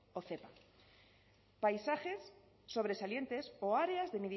o zepa paisajes sobresalientes o áreas de